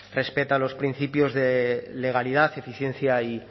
respeta los principios de legalidad eficiencia y